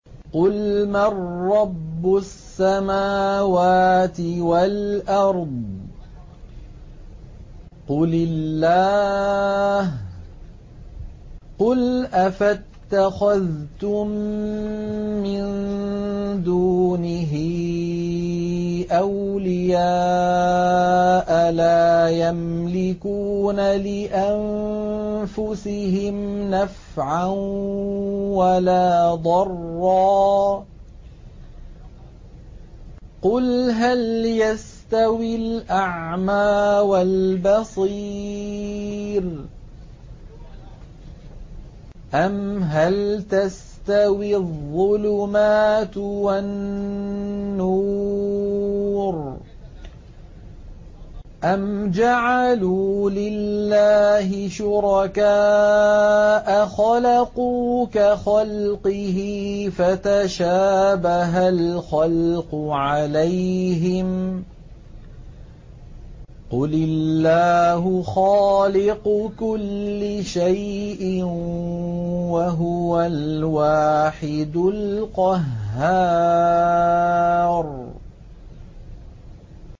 قُلْ مَن رَّبُّ السَّمَاوَاتِ وَالْأَرْضِ قُلِ اللَّهُ ۚ قُلْ أَفَاتَّخَذْتُم مِّن دُونِهِ أَوْلِيَاءَ لَا يَمْلِكُونَ لِأَنفُسِهِمْ نَفْعًا وَلَا ضَرًّا ۚ قُلْ هَلْ يَسْتَوِي الْأَعْمَىٰ وَالْبَصِيرُ أَمْ هَلْ تَسْتَوِي الظُّلُمَاتُ وَالنُّورُ ۗ أَمْ جَعَلُوا لِلَّهِ شُرَكَاءَ خَلَقُوا كَخَلْقِهِ فَتَشَابَهَ الْخَلْقُ عَلَيْهِمْ ۚ قُلِ اللَّهُ خَالِقُ كُلِّ شَيْءٍ وَهُوَ الْوَاحِدُ الْقَهَّارُ